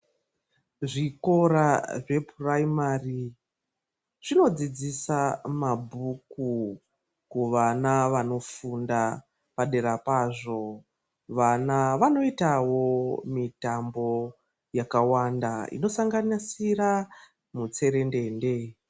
Zvikora zvepuraimari zvinodzidzisa mabhuku kuvana vanofunda paderapazvo vana vanoitawo mitambo yakawanda inosanganisira mutserendende.